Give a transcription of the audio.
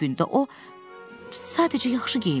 Adi gündə o, sadəcə yaxşı geyinmişdi.